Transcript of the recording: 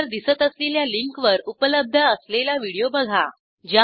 स्क्रीनवर दिसत असलेल्या लिंकवर उपलब्ध असलेला व्हिडिओ बघा